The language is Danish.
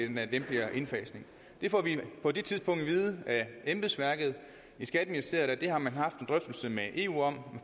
lempeligere indfasning vi får på det tidspunkt at vide af embedsværket i skatteministeriet at det har man haft en drøftelse med eu om